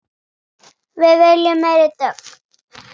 Við viljum meiri dögg!